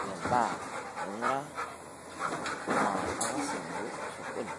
Ore imbaaa naing'uraa naaa ang'as aing'oru osokoni